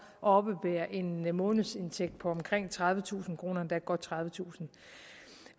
oppebære en månedsindtægt på omkring tredivetusind kr endda godt tredivetusind